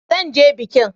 Zan je bikin.